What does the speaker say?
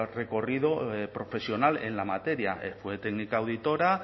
recorrido profesional en la materia fue técnica auditora